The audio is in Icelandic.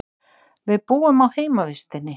Við búum á heimavistinni.